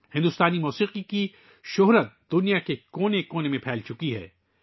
بھارتی موسیقی کی شہرت دنیا کے کونے کونے میں پھیل چکی ہے